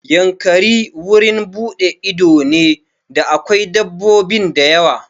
Yankari wurin buɗe ido ne da akwai dabbobin dawa.